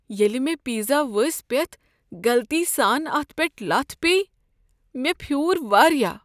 ییٚلہ مےٚ پیزا ؤسۍ پیتھ غلطی سان اتھ پیٹھ لتھ پیٚیہ مےٚ پھیوٗر واریاہ۔